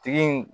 Tigi in